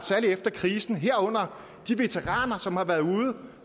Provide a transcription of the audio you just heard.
særlig efter krisen herunder de veteraner som har været ude